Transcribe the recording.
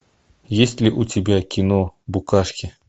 есть ли у тебя кино букашки